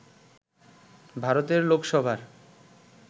ভারতের লোকসভার